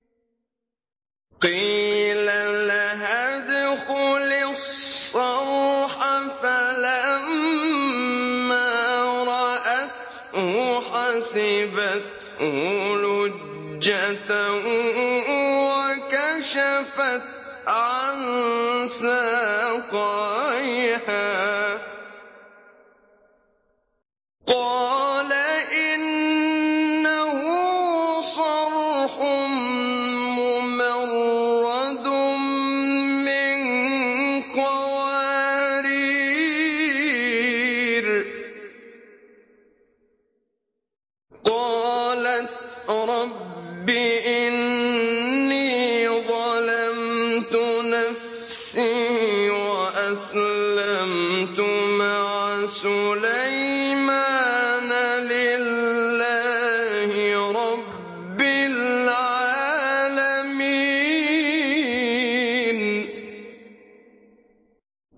قِيلَ لَهَا ادْخُلِي الصَّرْحَ ۖ فَلَمَّا رَأَتْهُ حَسِبَتْهُ لُجَّةً وَكَشَفَتْ عَن سَاقَيْهَا ۚ قَالَ إِنَّهُ صَرْحٌ مُّمَرَّدٌ مِّن قَوَارِيرَ ۗ قَالَتْ رَبِّ إِنِّي ظَلَمْتُ نَفْسِي وَأَسْلَمْتُ مَعَ سُلَيْمَانَ لِلَّهِ رَبِّ الْعَالَمِينَ